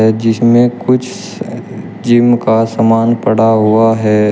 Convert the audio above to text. जिसमें कुछ जिम का सामान पड़ा हुआ है।